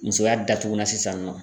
Musoya datugulan sisan nɔ.